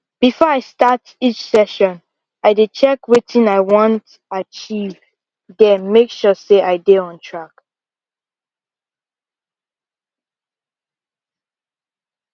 before i start each session i dey check wetin i want achieve then make sure say i dey on track